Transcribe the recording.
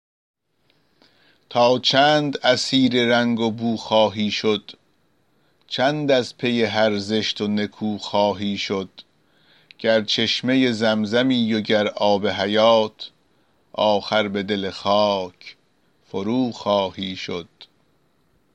تا چند اسیر رنگ و بو خواهی شد چند از پی هر زشت و نکو خواهی شد گر چشمه زمزمی و گر آب حیات آخر به دل خاک فروخواهی شد